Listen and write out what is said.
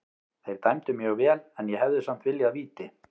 Þeir dæmdu mjög vel en ég hefði samt viljað víti.